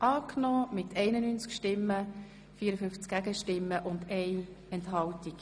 Sie haben auch dieses Postulat angenommen.